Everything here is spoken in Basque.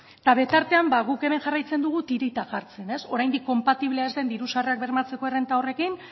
eta bete artean guk hemen jarraitzen dugu tirita jartzen oraindik konpatiblea ez dien diru sarrerak bermatzeko errenta horrekin